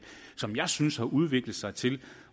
som jeg synes har udviklet sig til